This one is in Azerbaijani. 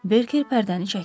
Berker pərdəni çəkdi.